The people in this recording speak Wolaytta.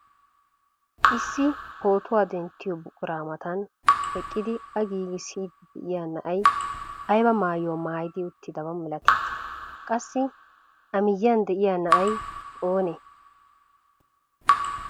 Issi pootuwaa denttiyoo buquraa matan eqqidi a giigissiidi de'iyaa na'ay ayba maayuwaa maayidi uttidaba milatii? Qassi a miyiyan de'iyaa na'ay oonee?